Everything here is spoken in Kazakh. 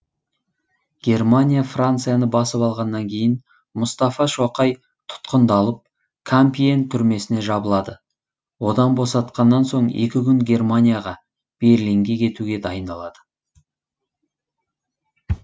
германия францияны басып алғаннан кейін мұстафа шоқай тұтқындалып кампиен түрмесіне жабылады одан босатқаннан соң екі күн германияға берлинге кетуге дайындалады